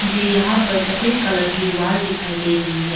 झे यहां पर सफेद कलर की वॉल दिखाई दे रही है।